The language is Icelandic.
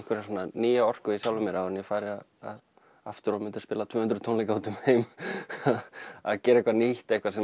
nýja orku hjá sjálfum mér áður en ég færi aftur að spila tvö hundruð tónleika um heim gera eitthvað nýtt eitthvað sem